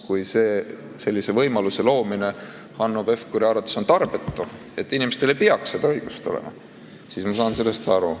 Kui sellise võimaluse loomine on Hanno Pevkuri arvates tarbetu, inimestel ei peaks seda õigust olema, siis ma saan sellest aru.